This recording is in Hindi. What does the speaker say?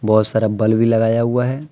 बहुत सारा बल्ब भी लगाया हुआ है।